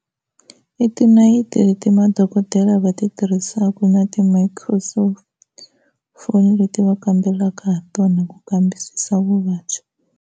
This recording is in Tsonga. I tinayiti ti madokodela va ti tirhisaka na ti-microsoft phone leti va kambelaka ha tona ku kambisisa vuvabyi.